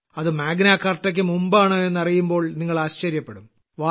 അത് മാഗ്നാകാർട്ടയ്ക്ക് മുമ്പാണ് എന്നറിയുമ്പോൾ നിങ്ങൾ ആശ്ചര്യപ്പെടും